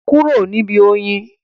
Kúrò níbi oyin?